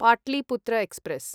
Pataliputra express